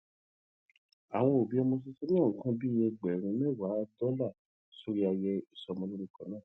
àwọn òbí tuntun náà ná nǹkan bí ẹgbèrún méwàá dólà sórí ayẹyẹ ìsọmọlórúkọ náà